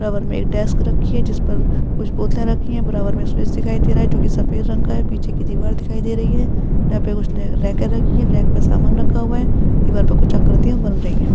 बराबर में एक डेस्क रखी है जिसपे कुछ बोतलें रखी हैं। बराबर में स्पेस दिखाई दे रहा है जोकि सफ़ेद रंग का है। पीछे की दीवार दिखाई दे रही है जहाँ पर कुछ रेकेँ रखी हैं। रेक पर कुछ सामान रखा हुआ है। दीवार पर कुछ आकृतियां बन रही हैं।